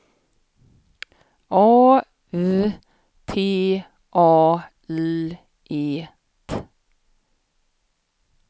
A V T A L E T